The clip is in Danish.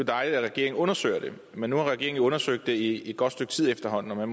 dejligt at regeringen undersøger det men nu har regeringen jo undersøgt det i et godt stykke tid efterhånden og